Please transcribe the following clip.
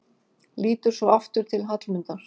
Lítur svo aftur til Hallmundar.